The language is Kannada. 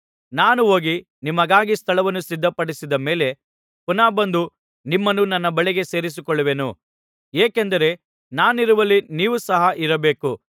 ನಾನು ಹೋಗಿ ನಿಮಗಾಗಿ ಸ್ಥಳವನ್ನು ಸಿದ್ಧಪಡಿಸಿದ ಮೇಲೆ ಪುನಃ ಬಂದು ನಿಮ್ಮನ್ನು ನನ್ನ ಬಳಿಗೆ ಸೇರಿಸಿಕೊಳ್ಳುವೆನು ಏಕೆಂದರೆ ನಾನಿರುವಲ್ಲಿ ನೀವು ಸಹ ಇರಬೇಕು